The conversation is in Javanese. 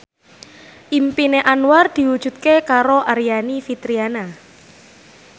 impine Anwar diwujudke karo Aryani Fitriana